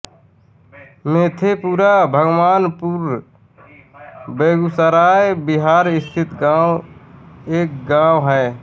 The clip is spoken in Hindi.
मेधेपुरा भगवानपुर बेगूसराय बिहार स्थित एक गाँव है